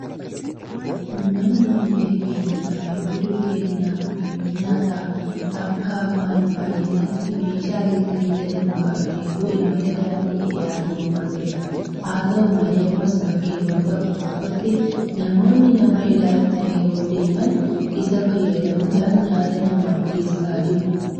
Uummanni biyya keenyaa yeroo durii ennaa bakkeewwan nyaataa akka ammaa hin baay'annetti meeshaa Gilgilii jedhamu qabateetu imala daandii dheeraa deemaa ture. Haata'u malee ammas bakkeewwan tokko tokkotti namoonni nama ilaalcha yeroo deeman isa fayyadamuudhaan nyaata namaaf geessaa jiru.